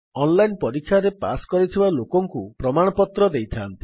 online ପରୀକ୍ଷାରେ pass କରିଥିବା ଲୋକଙ୍କୁ ପ୍ରମାଣପତ୍ର ଦେଇଥାନ୍ତି